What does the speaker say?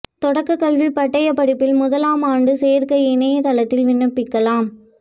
தொடக்கக் கல்வி பட்டய படிப்பில் முதலாம் ஆண்டு சோ்க்கை இணையதளத்தில் விண்ணப்பிக்கலாம்